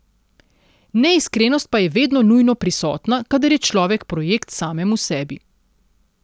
Neiskrenost pa je vedno nujno prisotna, kadar je človek projekt samemu sebi.